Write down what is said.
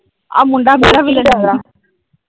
ਆਹ ਮੁੰਡਾ ਮੇਰਾ .